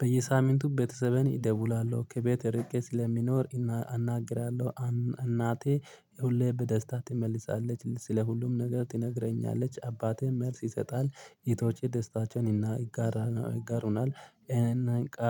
በየሳምንቱ ቤተሰቤን ኢደውላለሁ ከቤት እርቄ ሲለሚኖር አናግራለሁ። እናቴ ሁሌ በደስታ ትመልሳለች ስለ ሁሉም ነገር ቲነግረኛለች አባቴ መልስ ይሰጣል ኢቶቼ ደስታቸውን ይጋሩናል። ኢቃ